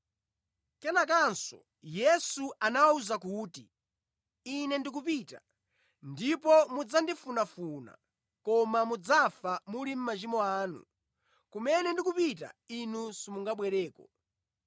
Kenakanso Yesu anawawuza kuti, “Ine ndikupita, ndipo mudzandifunafuna, koma mudzafa muli mʼmachimo anu. Kumene ndikupita, inu simungabwereko.”